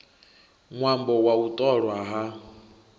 ṅwambo wa u ṱolwa ha